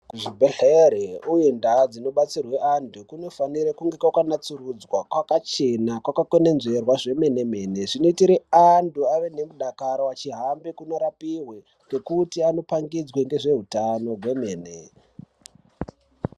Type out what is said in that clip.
Kuzvibhehlere uye ndau dzinobatsirwe antu kunofanire kunge kwakanatsurudzwa kwakachena kwakakwenenzverwa zvemene-mene zvinoitire antu ave nemudakaro achihambire kunorapiwe ngekuti anopangidzwe ngezveutano hwemene.